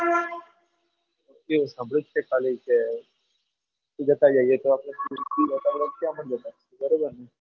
એવું સાંભળ્યું છે કે ખાલી તે જતા આવીએ તો આપણને બરોબર ને